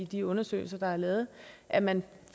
de undersøgelser der er lavet at man